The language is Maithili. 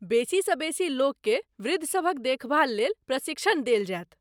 बेसी सँ बेसी लोककेँ वृद्ध सभक देखभाल लेल प्रशिक्षण देल जायत।